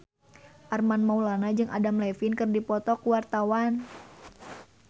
Armand Maulana jeung Adam Levine keur dipoto ku wartawan